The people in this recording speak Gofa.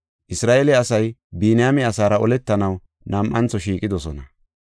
Isra7eele asay Biniyaame asaara oletanaw nam7antho shiiqidosona.